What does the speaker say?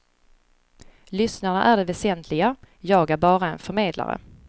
Lyssnarna är det väsentliga, jag är bara en förmedlare.